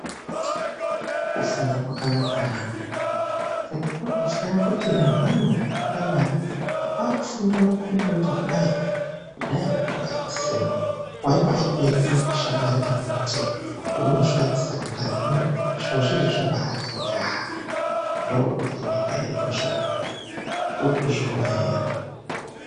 Kufunda kwakanaka na! Tekinoroji yaakuti nehwana hwekupuraimari hwaakufunda maKombiyuta kudai. Kudhayako kwainga kusina, waibaatoenda kushamwari kana kuti peunosvika ku Sekondari. Hino zviro zvizvi zvabaati njaa, ndookuti nyika yedu zve uku. Urikuzviona ere?